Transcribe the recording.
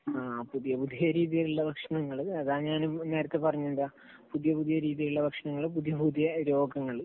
ആഹ്, പുതിയ പുതിയ രീതിയിലുള്ള ഭക്ഷണങ്ങള്, അതാ ഞാനും നേരത്തെ പറഞ്ഞത്. എന്താ, പുതിയ പുതിയ രീതിയിലുള്ള ഭക്ഷണങ്ങൾ, പുതിയ പുതിയ രോഗങ്ങൾ.